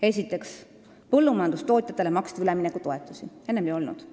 Esiteks, põllumajandustootjatele maksti üleminekutoetusi, enne seda ei olnud.